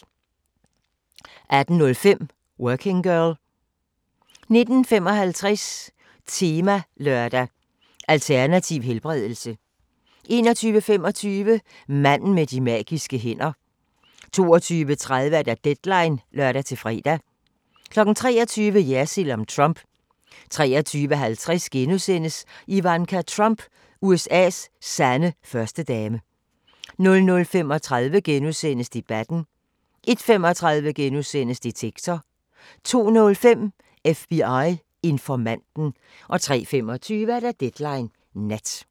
18:05: Working Girl 19:55: Temalørdag: Alternativ helbredelse 21:25: Manden med de magiske hænder 22:30: Deadline (lør-fre) 23:00: Jersild om Trump 23:50: Ivanka Trump – USA's sande førstedame * 00:35: Debatten * 01:35: Detektor * 02:05: FBI-informanten 03:25: Deadline Nat